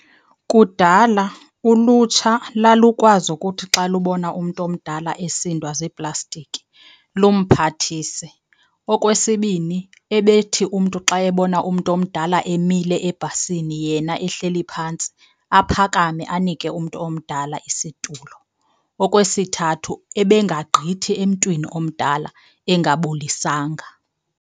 Kudala ulutsha lalukwazi ukuthi xa lubona umntu omdala esindwa ziiplastiki lumphathise. Okwesibini, ebethi umntu xa ebona umntu omdala emile ebhasini yena ehleli phantsi aphakame anike umntu omdala isitulo. Okwesithathu, ebengagqithi emntwini omdala engabulisanga.